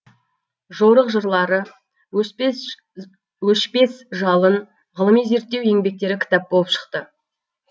жорық жырлары өшпес жалын ғылыми зерттеу еңбектері кітап болып шықты